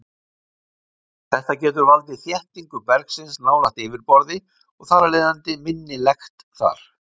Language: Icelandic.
Þetta getur valdið þéttingu bergsins nálægt yfirborði og þar af leiðandi minni lekt þar.